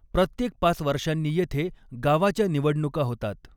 प्रत्येक पाच वर्षांनी येथे गावाच्या निवडणुका होतात.